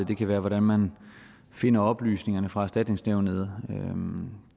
det kan være hvordan man finder oplysningerne fra erstatningsnævnet